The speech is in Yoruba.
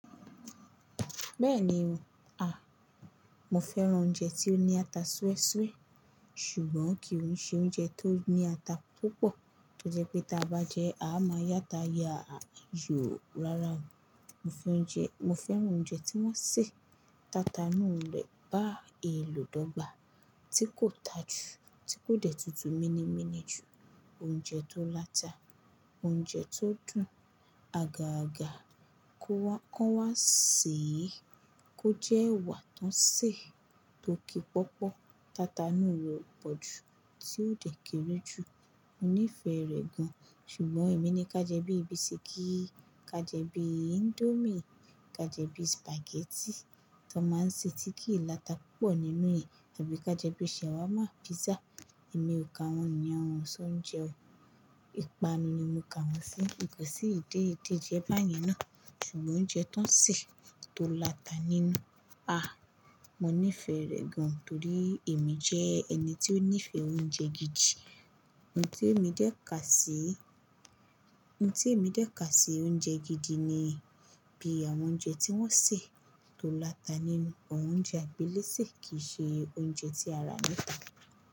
Bẹ́ẹ̀ni o. Ah! Mo fẹ́ran oúnjẹ tí ó ní ata Súwésúwé ṣùgbọ́n kì í ṣe oúnjẹ tó ní ata púpọ̀, torí pé tí a bá jẹ́, a máa yáta yáa yòó rárá. Mo fẹ́ran oúnjẹ tí wọ́n ń ṣe tata inú ilẹ̀ bá eèlò dọ́ gba tí kò tà jù, tí kò dẹ̀ tutù mini mini jù, oúnjẹ tó láta, oúnjẹ tó dùn, àga àga kó wá, kán wá sèé, kó jẹ́ ẹwà tó ń sè, tó ki pọ́pọ́, tata inú rẹ̀ pọ̀ jù tí ó dẹ̀ kéré jù. Mo nífẹ̀ẹ́ rẹ̀ gan-an. Ṣùgbọ́n èmi ni ká jẹ́ bí ibi bisikí i, ká jẹ́ bí índómì, ká jẹ́ bí sìpàgẹ́tì tó máa ń ṣe tí kí ì láta púpọ̀ nínú ì, tàbí ká jẹ́ bí ṣàwámà, písà. Èmi ò ka wọn yen o, ṣọ oúnjẹ o. Ìpanu ni mo kà wọ́n sí. Kò sí ìdẹ́ ìdẹ́jẹ báyẹn ná. Ṣùgbọ́n oúnjẹ tó ń sè tó láta nínú, ah! Mo nífẹ̀ẹ́ rẹ̀ gan-an torí èmi jẹ́ ẹni tí ó nífẹ̀ẹ́ oúnjẹ gidi. Ohun tí èmi dẹ́ ká sí, ohun tí èmi dẹ́ ká sí oúnjẹ gidi ni bí àwọn oúnjẹ tí wọ́n ń sè tó láta nínú, àwọn oúnjẹ àgbéléṣè kì í ṣe oúnjẹ tí ara ní ta.